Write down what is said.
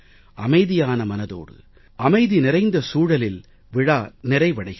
அமைதியான மனதோடு அமைதி நிறைந்த சூழலில் விழா நிறைவடைகிறது